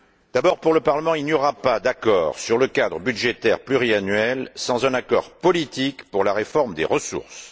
D'abord, pour le Parlement, il n'y aura pas d'accord sur le cadre budgétaire pluriannuel sans un accord politique sur la réforme des ressources.